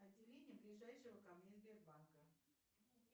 отделение ближайшего ко мне сбербанка